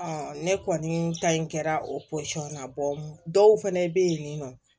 ne kɔni ta in kɛra o na dɔw fɛnɛ bɛ ye nin nɔ